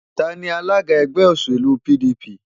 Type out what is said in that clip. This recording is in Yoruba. Ta ni alága ẹgbẹ́ òṣèlú PDP?